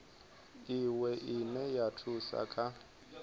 iwe ine ya thusa kha